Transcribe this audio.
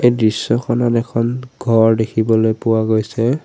দৃশ্যখনত এখন ঘৰ দেখিবলৈ পোৱা গৈছে।